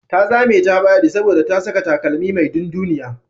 Ta zame ta faɗi saboda ta saka takalmi mai dunduniya.